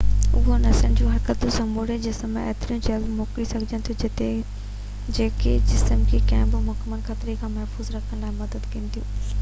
اهي نسن جو حرڪتون سموري جسم ۾ ايتريون جلدي موڪلي سگهجن ٿيون جيڪي جسم کي ڪنهن بہ ممڪن خطري کان محفوظ رکڻ لاءِ مدد ڪن ٿيون